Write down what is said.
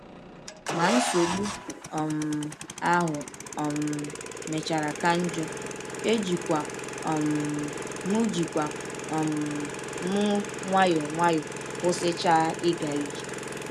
Ma nsọgbụ um ahụ um mechara ka njọ, ejikwa um m ejikwa um m nwayọọ nwayọọ kwụsịchaa ịga ije.